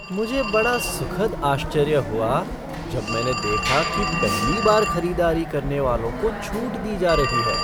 मुझे बड़ा सुखद आश्चर्य हुआ जब मैंने देखा कि पहली बार खरीदारी करने वालों को छूट दी जा रही है।